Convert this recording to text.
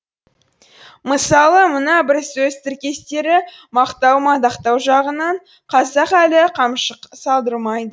мысалы мына бір сөз тіркестері мақтау мадақтау жағынан қазақ әлі қамшы салдырмайды